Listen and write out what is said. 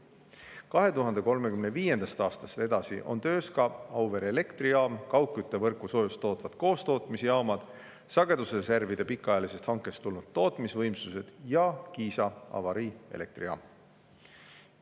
Peale 2035. aastat on töös ka Auvere elektrijaam, kaugküttevõrku soojust tootvad koostootmisjaamad, sagedusreservide pikaajalisest hankest tulnud tootmisvõimsused ja Kiisa avariielektrijaam.